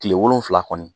Tile wolonwula kɔni